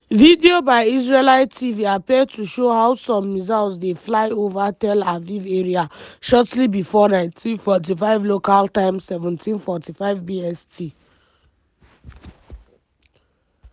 video by israeli tv appear to show how some missiles dey fly ova tel aviv area shortly bifor 19:45 local time (17:45 bst).